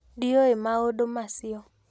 Ndiũĩ maũndũ macio